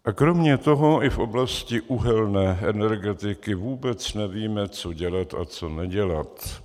A kromě toho i v oblasti uhelné energetiky vůbec nevíme co dělat a co nedělat.